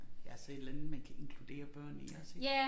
Jeg selv et eller andet man kan inkludere børn i iggås ik